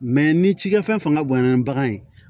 Mɛ ni cikɛ fɛn fanga bonyana ni bagan ye